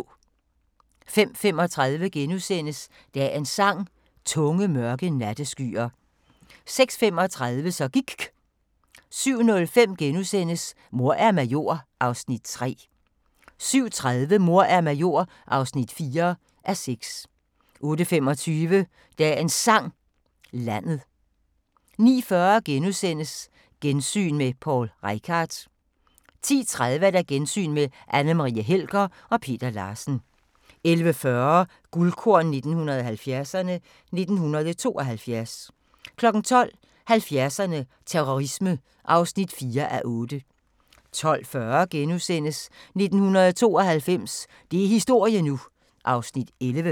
05:35: Dagens Sang: Tunge, mørke natteskyer * 06:35: Så gIKK 07:05: Mor er major (3:6)* 07:30: Mor er major (4:6) 08:25: Dagens Sang: Landet 09:40: Gensyn med Poul Reichhardt * 10:30: Gensyn med Anne Marie Helger og Peter Larsen 11:40: Guldkorn 1970'erne: 1972 12:00: 70'erne: Terrorisme (4:8) 12:40: 1992 – det er historie nu! (11:20)*